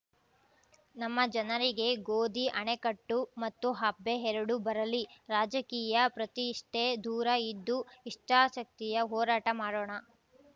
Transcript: ನಮ್ಮ ಜನರಿಗೆ ಗೋಧಿ ಅಣೆಕಟ್ಟು ಮತ್ತು ಹಬ್ಬೆ ಎರಡು ಬರಲಿ ರಾಜಕೀಯ ಪ್ರತಿಷ್ಟೆದೂರ ಇದ್ದು ಇಚ್ಚಾಶಕ್ತಿಯ ಹೋರಾಟ ಮಾಡೋಣ